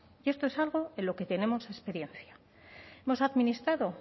y esto es algo en lo que tenemos experiencia hemos administrado